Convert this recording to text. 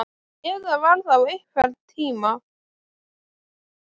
Ef það var þá einhvern tíma.